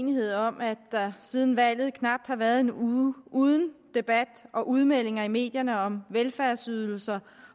uenighed om at der siden valget knap har været en uge uden debat og udmeldinger i medierne om velfærdsydelser